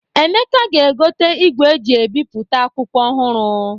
Emeka ga-egote igwe e ji ebipụta akwụkwọ ọhụrụ.